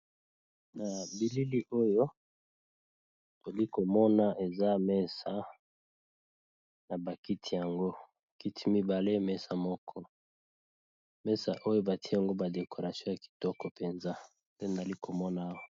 Na bilili oyo tozali komona eza mesa na bakiti yango kiti mibale mesa moko mesa oyo bati yango badekoration ya kitoko mpenza nde ali komona awa.